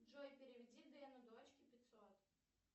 джой переведи дэну дочке пятьсот